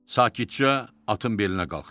Sakitcə atın belinə qalxdı.